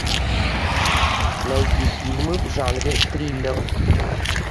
найти фильмы в жанре триллер